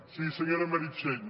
sí senyora meritxell